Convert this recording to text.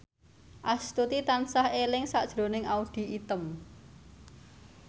Astuti tansah eling sakjroning Audy Item